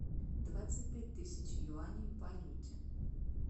двадцать пять тысяч юаней в валюте